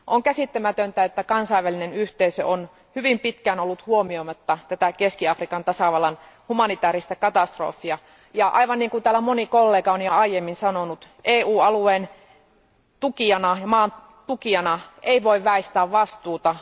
On käsittämätöntä, että kansainvälinen yhteisö on hyvin pitkään ollut huomioimatta tätä Keski Afrikan tasavallan humanitaarista katastrofia, ja aivan niin kuin täällä moni kollega on jo aiemmin sanonut, EU alueen tukijana ei voi väistää vastuuta.